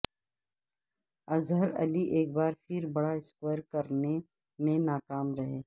اظہر علی ایک بار پھر بڑا سکور کرنے میں ناکام رہے